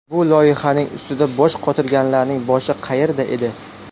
Bu loyihaning ustida bosh qotirganlarning boshi qayerda edi?